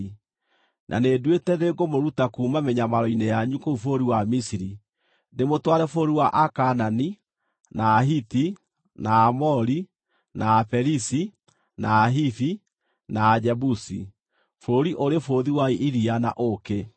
na nĩnduĩte nĩngũmũruta kuuma mĩnyamaro-inĩ yanyu kũu bũrũri wa Misiri, ndĩmũtware bũrũri wa Akaanani, na Ahiti, na Aamori, na Aperizi, na Ahivi, na Ajebusi, bũrũri ũrĩ bũthi wa iria na ũũkĩ.’